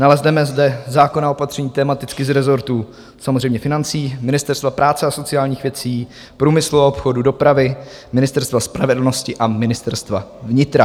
Nalezneme zde zákonná opatření tematicky z rezortů samozřejmě financí, Ministerstva práce a sociálních věcí, průmyslu a obchodu, dopravy, Ministerstva spravedlnosti a Ministerstva vnitra.